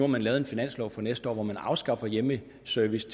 man lavet en finanslov for næste år hvor man afskaffer hjemmeservice